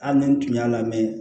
Hali ni n tun y'a lamɛn